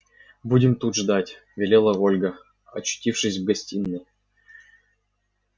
будем тут ждать велела ольга очутившись в гостиной